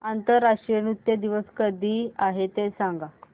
आंतरराष्ट्रीय नृत्य दिवस कधी आहे ते सांग